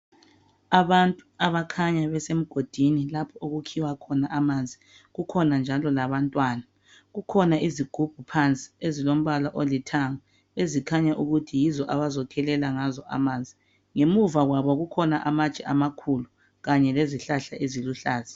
Abantu abakhanya besemgodini lapho okukhiwa khona amanzi kukhona njalo labantwana kukhona izigubhu phansi ezilombala olithanga ezikhanya ukuthi yizo abazokhelela ngazo amanzi ngemuva kwabo kukhona amatshe amakhulu kanye lezihlahla eziluhlaza